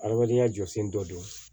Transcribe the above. Adamadenya jɔsen dɔ don